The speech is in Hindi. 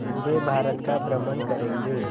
पूरे भारत का भ्रमण करेंगे